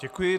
Děkuji.